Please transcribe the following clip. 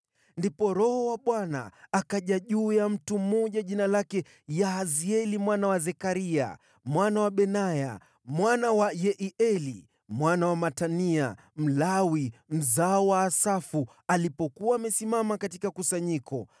Ndipo Roho wa Bwana akaja juu ya mtu mmoja jina lake Yahazieli mwana wa Zekaria, mwana wa Benaya, Mwana wa Yeieli, mwana wa Matania, Mlawi mzao wa Asafu alipokuwa amesimama katika kusanyiko.